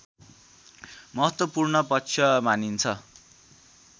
महत्त्वपूर्ण पक्ष मानिन्छ